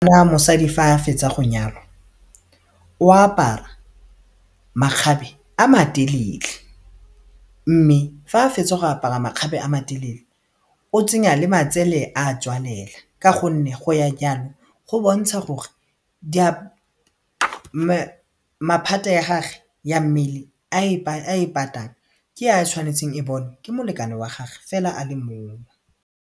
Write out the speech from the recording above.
Lwa mosadi fa a fetsa go nyalwa o apara makgabe a matelele mme fa a fetsa go apara makgabe a matelele o tsenya le matsele a tswalela ka gonne go ya jalo go bontsha gore maphata a gagwe ya mmele a e patang ke ya tshwanetseng e bonwe ke molekane wa gagwe fela a le mongwe.